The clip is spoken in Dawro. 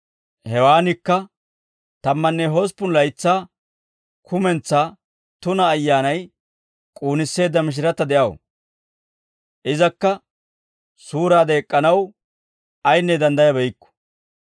Hewaanikka tammanne hosppun laytsaa kumentsaa tuna ayyaanay k'uunisseedda mishiratta de'aw. Izakka suuraade ek'k'anaw ayinne danddayabeykku.